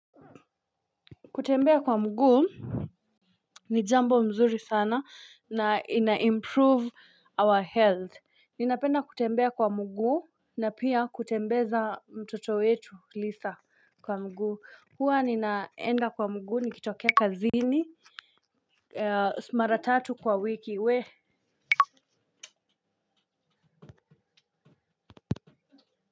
Kutembea kwa mguu ni jambo nzuri sana na ina improve our health. Ninapenda kutembea kwa mguu na pia kutembeza mtoto wetu. Huwa ninaenda kwa mguu nikitokea kazini mara tatu kwa wiki we.